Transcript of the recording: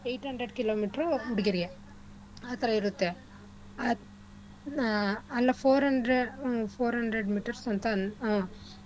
Eight hundred kilometer ಹುಡ್ಗಿರ್ಗೆ ಆತರ ಇರತ್ತೆ. ಆ four hundred hmm four hundred meters ಅಂತ ಆ.